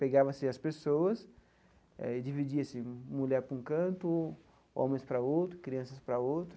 Pegava-se as pessoas e dividia-se, mulher para um canto, homens para outro, crianças para outro.